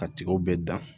Ka tigaw bɛɛ dan